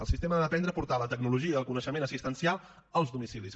el sistema ha d’aprendre a portar la tecnologia i el coneixement assistencial als domicilis